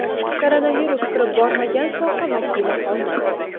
Koronavirus kirib bormagan soha vakili qolmadi.